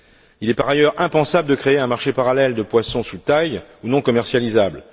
Il est par ailleurs impensable de créer un marché parallèle de poissons sous taille ou non commercialisables.